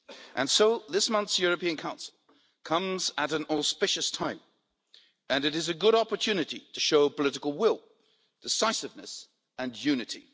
And so, this month's European Council comes at an auspicious time, and it is a good opportunity to show political will, decisiveness and unity.